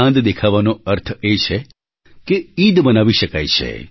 ચાંદ દેખાવાનો અર્થ એ છે કે ઈદ મનાવી શકાય છે